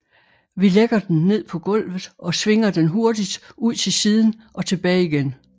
Vi lægger den ned på gulvet og svinger den hurtigt ud til siden og tilbage igen